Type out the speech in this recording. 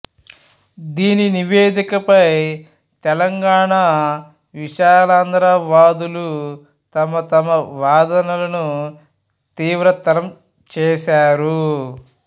దీని నివేదికపై తెలంగాణా విశాలాంధ్ర వాదులు తమతమ వాదనలను తీవ్రతరం చేసారు